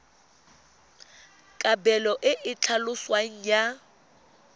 kabelo e e tlhaloswang ya